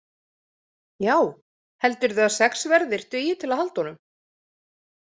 Já, heldurðu að sex verðir dugi til að halda honum?